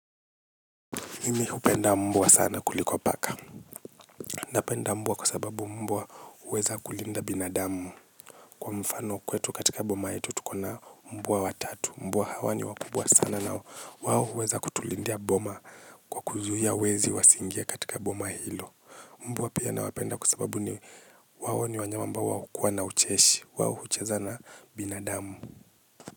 Mimi hupenda mbua sana kuliko paka. Napenda mbua kuasababu mbua uweza kulinda binadamu. Kwa mfano kwetu katika boma yetu tukona mbua watatu. Mbua hawa ni wakubwa sana nao. Wawo uweza kutulindia boma kwa kuzuhia wezi wasingie katika boma hilo. Mbua pia nawapenda kuasababu ni wao ni wanyama ambao wana ucheshi. Wao hucheza na binadamu.